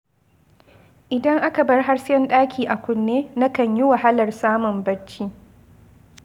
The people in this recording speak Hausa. Idan aka bar hasken ɗaki a kunne, na kan yi wahalar samun bacci.